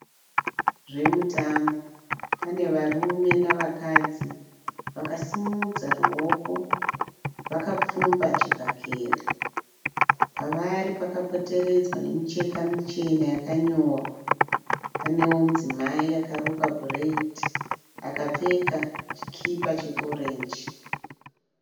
Zvemutambo pane varume navakadzi vakasimudza ruoko vakapfumba chibhakera, pavari pakapoteredzwa nemicheka michena yakanyorwa. Paneo mudzimai akarukwa bhureidhi akapfeka chikipa che orenji.